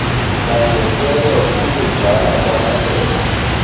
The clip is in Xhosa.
bangehlelwa kukugcwala kwamabele